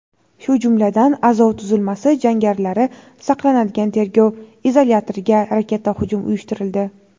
shu jumladan "Azov" tuzilmasi jangarilari saqlanadigan tergov izolyatoriga raketa hujum uyushtirildi.